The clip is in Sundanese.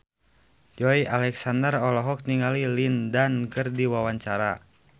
Joey Alexander olohok ningali Lin Dan keur diwawancara